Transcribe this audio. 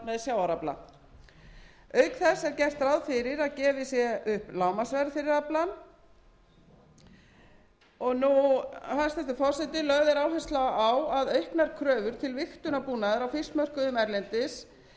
sjávarafla auk þess er gert ráð fyrir að gefið sé upp lágmarksverð fyrir aflann hæstvirtur forseti lögð er áhersla á auknar kröfur til vigtunarbúnaðar hjá fiskmörkuðum erlendis talið